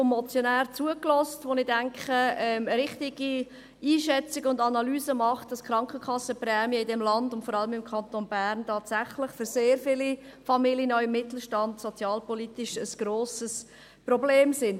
Ich denke, er nimmt eine richtige Einschätzung und Analyse vor, wenn er sagt, dass die Krankenkassenprämien in diesem Land und vor allem im Kanton Bern tatsächlich für sehr viele Familien aus dem Mittelstand sozialpolitisch ein grosses Problem sind.